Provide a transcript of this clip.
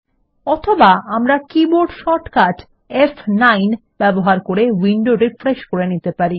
অথবা আমরা keyboard shortcut ফ9 ব্যবহার করে উইন্ডো রিফ্রেশ করে নিতে পারি